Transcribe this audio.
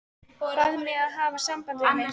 Bað mig að hafa samband við þig.